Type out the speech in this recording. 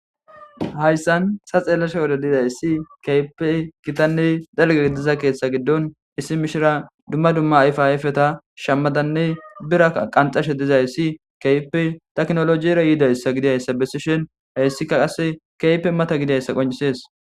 hayssan ta xeellasha wode dizayssi kehipe gitanne dalge gidiza keeththa giddon issi mishira dumma dumma ayfi ayfeta shammadanne bira qanxashe dizayssi keype taknolojiyra yiidayssa gidiyayssa bessishen heyssika qasse keype mata gidiyayssa qoncisees